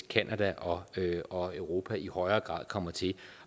canada og og europa i højere grad kommer til at